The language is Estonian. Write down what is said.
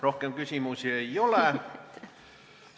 Rohkem küsimusi ei ole.